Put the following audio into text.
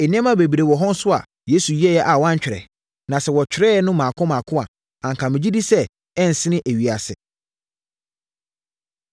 Nneɛma bebree wɔ hɔ nso a Yesu yɛeɛ a wɔantwerɛ, na sɛ wɔtwerɛeɛ no mmaako mmaako a, anka megye di sɛ ɛrensene ewiase.